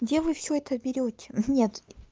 где вы все это берете мм нет